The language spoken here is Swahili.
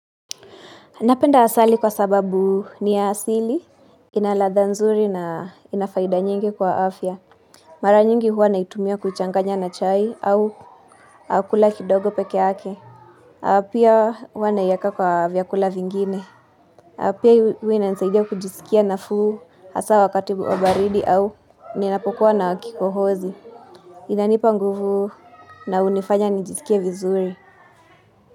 Napenda asali kwa sababu ni ya asili, ina ladhaa nzuri na inafaida nyingi kwa afya. Mara nyingi huwa naitumia kuchanganya na chai au kula kidogo peke yake. Pia huwa naiweka kwa vyakula vingine. Pia huwa ninasaidia kujisikia nafuu hasa wakati wa baridi au ninapokuwa na kikohozi. Inanipa nguvu na hunifanya nijisikie vizuri.